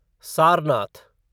Sarnath